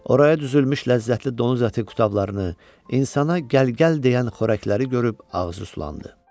Oraya düzülmüş ləzzətli donuz əti kutablarını, insana gəl-gəl deyən xörəkləri görüb ağzı sulandı.